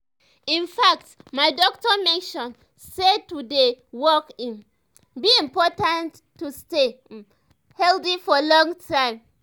in fact my doctor mention say to dey walk e um be important to stay um healthy for long time.